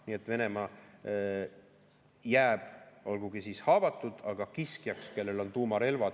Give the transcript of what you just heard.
Nii et Venemaa jääb olgugi haavatud, aga kiskjaks, kellel on tuumarelvad.